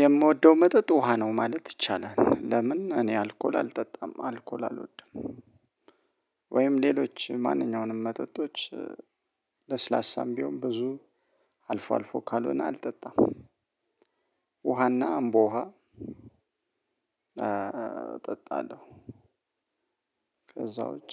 የምወደው መጠጥ ውሃ ነው ማለት ይቻላል ለምን እኔ አልኮል አልጠጣም አልኮል አልወድም። ወይም ሌሎች ማንኛውንም መጠጦች ለስላሳም ቢሆን ብዙ አልፎ አልፎ ካልሆነ አልጠጣም። ውሃና አምቦ ውሃ እጠጣለሁ። ከዛ ውጪ